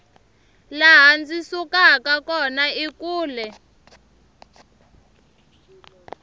laha ndzi sukaka kona i kule